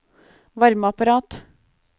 varmeapparat